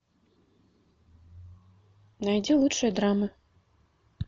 найди лучшие драмы